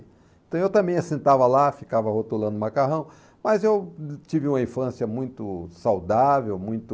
Então eu também sentava lá, ficava rotulando o macarrão, mas eu tive uma infância muito saudável, muito...